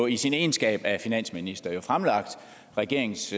i sin egenskab af finansminister fremlagt regeringens